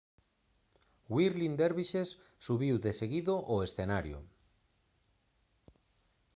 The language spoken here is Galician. whirling dervishes subiu deseguido ao escenario